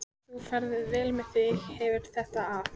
Ef þú ferð vel með þig hefurðu þetta af.